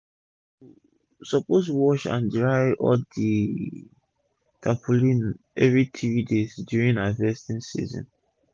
u suppose wash and dry all d tarpaulin everi 3 days during harvesting season